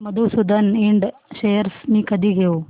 Madhusudan Ind shares मी कधी घेऊ